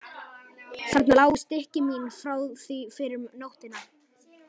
Þarna lágu stykki mín frá því fyrr um nóttina.